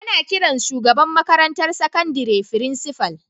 Ana kiran shugaban makarantar sakandire Frincifal.